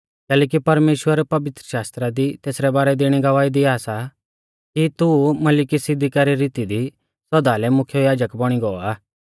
कैलैकि परमेश्‍वर पवित्रशास्त्रा दी तेसरै बारै दी इणी गवाही दिया सा कि तू मलिकिसिदका री रीती दी सौदा लै मुख्य याजक बौणी गौ आ